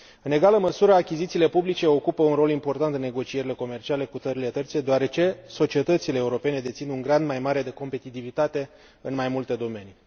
În egală măsură, achizițiile publice ocupă un rol important în negocierile comerciale cu țările terțe, deoarece societățile europene dețin un grad mai mare de competitivitate în mai multe domenii.